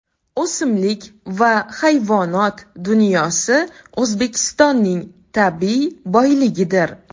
O‘simlik va hayvonot dunyosi O‘zbekistonning tabiiy boyligidir.